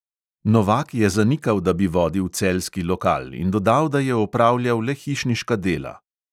Novak je zanikal, da bi vodil celjski lokal, in dodal, da je opravljal le hišniška dela.